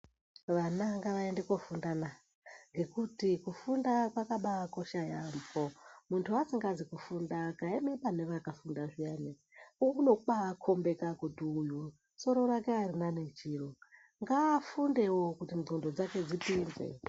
Vana ngavaende kofunda na ,ngekuti kufunda kwakabaakosha yaampho .Muntu asikazi kufunda akaema pane vakafunda zviyani unobaakhombeka kuti muntu uyu soro rakwe arina nechiro ngaafundevo kuti nqondo dzakwe dzipinze.